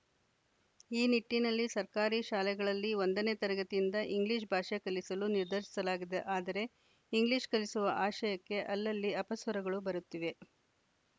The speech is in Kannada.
ಈ ನಿಟ್ಟಿನಲ್ಲಿ ಸರ್ಕಾರಿ ಶಾಲೆಗಳಲ್ಲಿ ಒಂದನೇ ತರಗತಿಯಿಂದ ಇಂಗ್ಲಿಷ್‌ ಭಾಷೆ ಕಲಿಸಲು ನಿರ್ಧರಿಸಲಾಗಿದೆ ಆದರೆ ಇಂಗ್ಲಿಷ್‌ ಕಲಿಸುವ ಆಶಯಕ್ಕೆ ಅಲ್ಲಲ್ಲಿ ಅಪಸ್ವರಗಳು ಬರುತ್ತಿವೆ